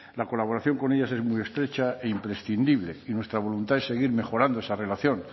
la colaboración con ellas es muy estrecha e imprescindible y nuestra voluntad es seguir mejorando esa relación